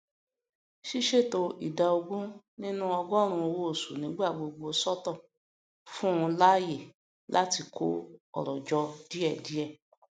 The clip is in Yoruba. ṣíṣètò ìdá ogún ninu ọgọrùn owó oṣù nígbàgbogbo sọtọ fún láàyè láti kó ọrọ jọ díèdíẹ